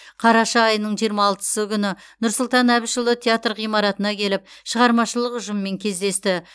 қараша айының жиырма алтысы күні нұрсұлтан әбішұлы театр ғимаратына келіп шығармашылық ұжыммен кездесті